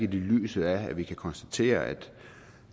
lyset af at vi kan konstatere at